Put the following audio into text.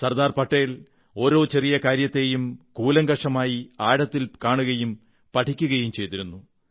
സർദാർ പട്ടേൽ ഓരോ ചെറിയ കാര്യത്തെയും കൂലങ്കഷമായി ആഴത്തിൽ കാണുകയും പഠിക്കുകയും ചെയ്തിരുന്നു